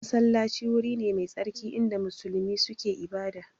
Masallaci wuri ne mai tsarki inda musulmi suke ibada